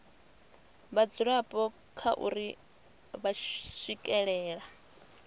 vhadzulapo kha uri vha swikelela